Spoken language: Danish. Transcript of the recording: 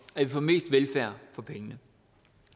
at vi får mest velfærd for pengene